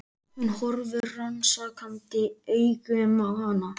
Hún horfir rannsakandi augum á hana.